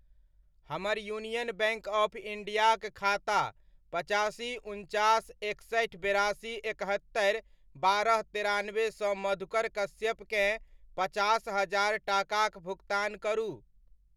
हमर union bank of इण्डियाक खाता पचासी, उनचास, एकसठि, बेरासी, एकहत्तरि, बारह, तेरानबे सँ मधुकर कश्यप केँ पचास हजार टाकाक भुकतान करू।